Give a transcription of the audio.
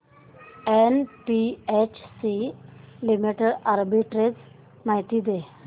NHPC limited arbitrage माहिती दे